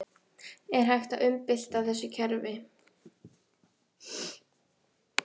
Er hægt að umbylta þessu kerfi?